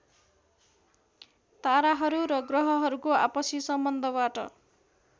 ताराहरू र ग्रहहरूको आपसी सम्बन्धबाट